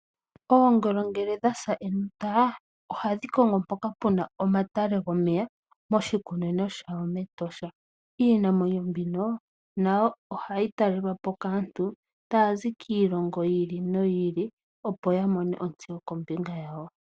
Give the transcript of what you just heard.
Oongolo ngele dhasa enota ohadhi kongo mpoka puna omatale gomeya moshikunino shawo mEtosha , iinamwenyo mbino nayo ohayi talelwapo kaantu tazi kiilongo yili no yili opo yamone ontseyo kombinga yawo.